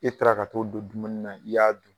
E taara ka t'o don dumuni na, i y'a dun